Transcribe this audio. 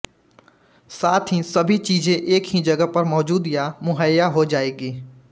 साथ ही सभी चीज़े एक ही जगह पर मौजूद या मुहैय्या हो जाएगी